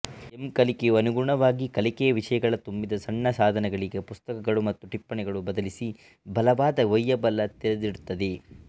M ಕಲಿಕೆಯು ಅನುಗುಣವಾಗಿ ಕಲಿಕೆಯ ವಿಷಯಗಳ ತುಂಬಿದ ಸಣ್ಣ ಸಾಧನಗಳಿಗೆ ಪುಸ್ತಕಗಳು ಮತ್ತು ಟಿಪ್ಪಣಿಗಳು ಬದಲಿಸಿ ಬಲವಾದ ಒಯ್ಯಬಲ್ಲ ತೆರೆದಿಡುತ್ತದೆ